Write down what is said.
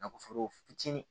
Nafolo fitiinin